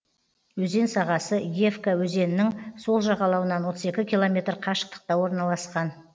өзен сағасы иевка өзенінің сол жағалауынан отыз екі километр қашықтықта орналасқан